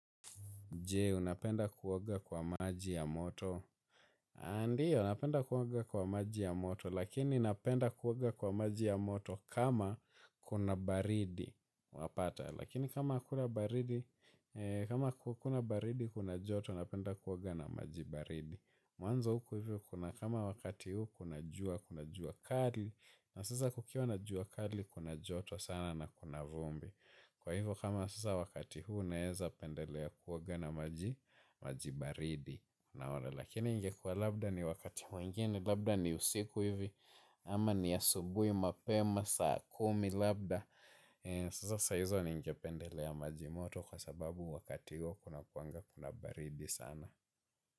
Je, unapenda kuoga kwa maji ya moto. Ndio, napenda kuoga kwa maji ya moto, lakini napenda kuoga kwa maji ya moto kama kuna baridi. Wapata, lakini kama hakuna baridi, kuna joto, napenda kuoga na maji baridi. Mwanzo huku hivyo, kuna kama wakati huku, kuna jua, kuna jua kali, na sasa kukiwa na jua kali, kuna joto sana na kuna vumbi. Kwa hivyo kama sasa wakati huu naweza pendelea kuoga na maji baridi. Naona lakini ingekua labda ni wakati mwingine. Labda ni usiku hivi ama ni ya subuhi mapema saa kumi labda. Sasa sahizo ningependelea maji moto kwa sababu wakati huu kuna kuwaga kuna baridi sana.